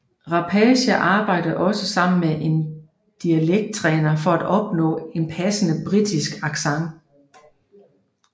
Rapace arbejde også sammen med en dialekt træner for at opnå en passende britisk accent